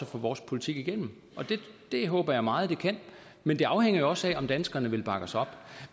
få vores politik igennem det håber jeg meget at det kan men det afhænger jo også af om danskerne vil bakke os op